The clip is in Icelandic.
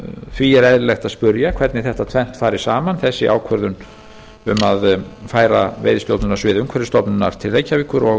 því er eðlilegt að spyrja hvernig þetta tvennt fari saman þessi ákvörðun um að færa veiðistjórnunarsvið umhverfisstofnunar til reykjavíkur og